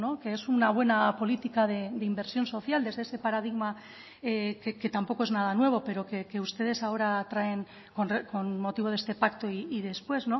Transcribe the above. que es una buena política de inversión social desde ese paradigma que tampoco es nada nuevo pero que ustedes ahora traen con motivo de este pacto y después